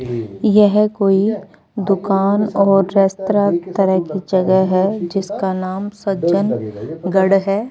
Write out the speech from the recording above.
यह कोई दुकान और रेस्तरा तरह की जगह है जिसका नाम सज्जनगढ़ है।